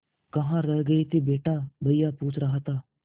कहाँ रह गए थे बेटा भैया पूछ रहा था